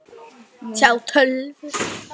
Við skildum á